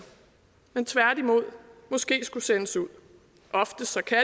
men tværtimod måske skulle sendes ud oftest kan